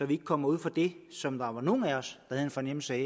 vi at komme ud for det som nogle af os havde en fornemmelse af